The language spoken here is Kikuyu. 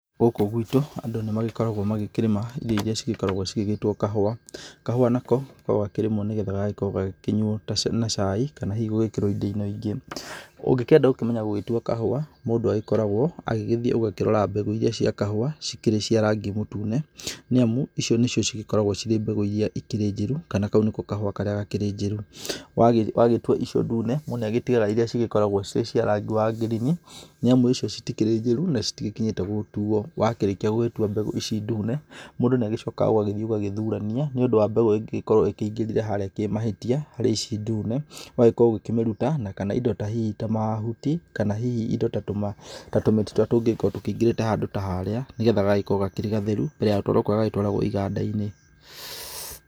Gũkũ gwitũ andũ nĩmagĩkoragwo magĩkĩrĩma indo iria cigĩkoragwo cigĩgĩtwo kahũa. Kahũa nako gakoragwo gakĩrĩmwo nĩ getha gagagĩkorwo gagĩkĩnyuo na caai, kana hihi gũgĩkĩrwo indo-ini ingĩ. Ũngĩkĩenda gũkĩmenya gũgĩtua kahũa mũndũ agĩkoragwo agĩgĩthiĩ ũgakĩrora mbegũ iria cia kahũa cikĩrĩ cia rangi mũtune, niamu icio nĩcio cigĩkoragwo cirĩ mbegũ iria ĩkĩrĩ njĩrũ, kana kau nĩko kahũa karĩa gakĩrĩ njĩru. Wagĩtua icio ndune, mũndũ nĩagĩtigaga iria cikoragwo ciĩ cia rangi wa ngirini, nĩamu icio citikĩrĩ njĩru, na citigĩkinyĩte gũtuo. Wakĩrĩkia gũgĩtua mbegu ici ndune, mũndũ nĩagĩcokaga ũgagĩthiĩ ũgagĩthurania nĩ ũndũ wa mbegũ ĩngĩgĩkorwo ĩkĩingĩrire harĩa kĩmahĩtia harĩ ici ndune, ũgagĩkorwo ugĩkĩmĩruta, na kana indo hihi ta mahuti, kana hihi indo ta tũmĩtĩ tũrĩa tũngĩgĩkorwo tũkĩingĩrĩte handũ ta haarĩa, nĩ getha gagagĩkorwo karĩ gatheru mbere ya gũtwarwo kũrĩa gatwaragwo iganda-inĩ.